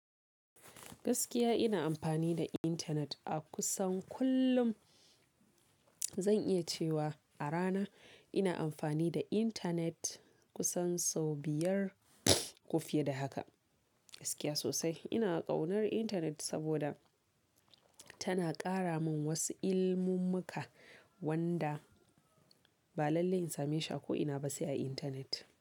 Gaskiya ina amfani da intanet a kusan kullum. Zan iya cewa a rana ina amfani da intanet kusan sau biyar ko fiye da haka. Gaskiya sosai ina ƙaunar intanet saboda tana ƙara mun wasu ilimummuka wanda ba lallai in same shi a ko ina ba sai a internet.